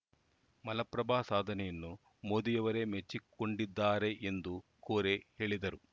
ಮಲಪ್ರಭಾ ಸಾಧನೆಯನ್ನು ಮೋದಿಯರವೇ ಮೆಚ್ಚಿಕೊಂಡಿದ್ದಾರೆ ಎಂದು ಕೋರೆ ಹೇಳಿದರು